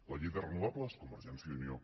la llei de renovables convergència i unió